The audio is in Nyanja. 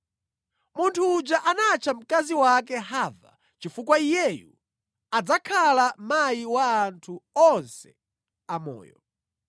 Munthu uja anatcha mkazi wake Hava, chifukwa iyeyu adzakhala mayi wa anthu onse amoyo.